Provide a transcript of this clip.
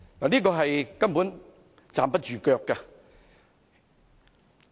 這根本站不住腳。